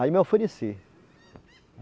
Aí me ofereci.